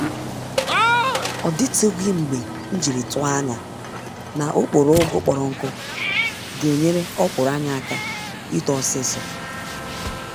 Ọdịtụghị mgbe mjiri tụọ ányá na okporo ụgụ kpọrọ nkụ genyere ọkwụrụ anyị àkà ito ọsịsọ